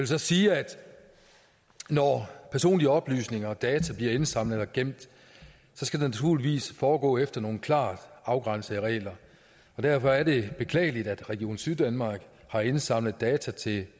så sige at når personlige oplysninger og data bliver indsamlet og gemt skal det naturligvis foregå efter nogle klart afgrænsede regler derfor er det beklageligt at region syddanmark har indsamlet data til